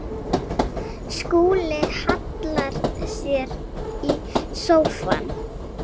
Skúli hallar sér í sófann.